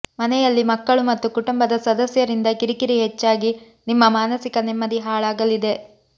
ಮನೆಯಲ್ಲಿ ಮಕ್ಕಳು ಮತ್ತು ಕುಟುಂಬದ ಸದ್ಯಸರಿಂದ ಕಿರಿ ಕಿರಿ ಹೆಚ್ಚಾಗಿ ನಿಮ್ಮ ಮಾನಸಿಕ ನೆಮ್ಮದಿ ಹಾಳಾಗಲಿದೆ